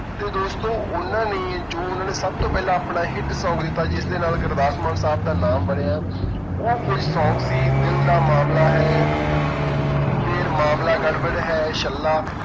ਤੇ ਦੋਸਤੋ ਉਹਨਾਂ ਨੇ ਜੋ ਉਹਨਾਂ ਨੇ ਸਭ ਤੋਂ ਪਹਿਲਾਂ ਆਪਣਾ hit song ਦਿੱਤਾ ਜਿਸਦੇ ਨਾਲ ਗੁਰਦਾਸਮਾਨ ਸਾਹਬ ਦਾ ਨਾਮ ਬਣਿਆ ਉਹ song ਸੀ ਦਿਲ ਦਾ ਮਾਮਲਾ ਹੈ ਫਿਰ ਮਾਮਲਾ ਗੜਬੜ ਹੈ, ਛੱਲਾ।